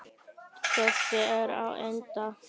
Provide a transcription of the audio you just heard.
Þessi er á enda.